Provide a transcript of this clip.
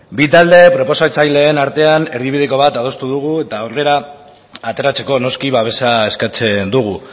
bi talde parlamentarien artean erdibideko bat adostu dugu eta aurrera ateratzeko noski babesa eskatzen dugu